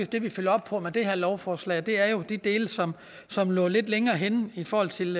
det vi følger op på med det her lovforslag det er jo de dele som som lå lidt længere henne i forhold til